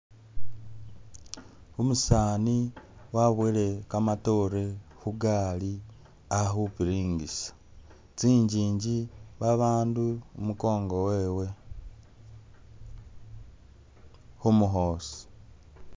Umusani wabwoyele kamatore khugari a khupiringisa. Tsingingi, babandu i'mukongo wewe khumukhoosi.